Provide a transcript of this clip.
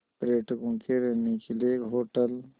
पर्यटकों के रहने के लिए होटल